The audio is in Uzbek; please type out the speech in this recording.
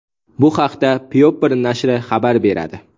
Bu haqda People nashri xabar beradi .